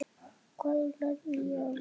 Þar lærði ég að vinna.